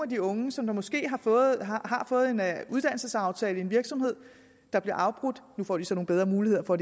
de unge som måske har fået fået en uddannelsesaftale i en virksomhed der bliver afbrudt nu får de så nogle bedre muligheder for